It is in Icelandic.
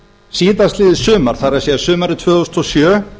síðastliðið sumar það er sumarið tvö þúsund og sjö